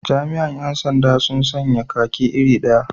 Jami'an 'yan sanda sun sanya kaki iri daya.